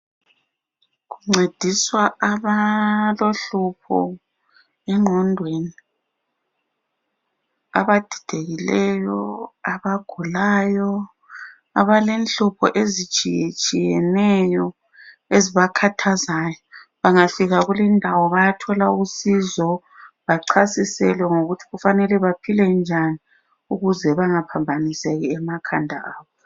Kuncediswa abalohlupho engqondweni, abadidekileyo, abagulayo abalenhlupho ezitshiyetshiyeneyo ezibakhathazayo ,bangafika kulindawo bayathola usizo bachasiselwe ngokuthi kufanele baphile njani ukuze bengaphambaniseki emakhanda abo.